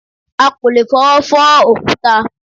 À kò lè fọwọ́ fọ́ òkúta